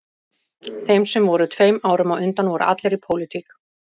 Þeir sem voru tveim árum á undan voru allir í pólitík